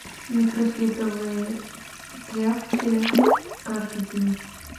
микрофибровые тряпки каждый день